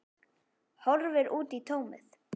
Horfir út í tómið.